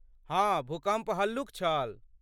हँ, भूकम्प हल्लुक छल।